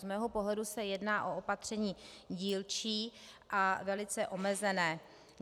Z mého pohledu se jedná o opatření dílčí a velice omezené.